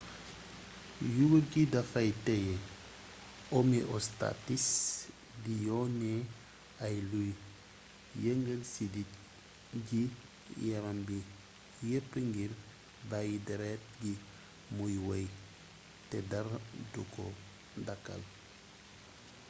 yuur gi dafay teye homeostasis di yone ay luy yëngal siddit ci yaram bi yepp ngir bàyyi deret gi muy wey te dara du ko dàkkal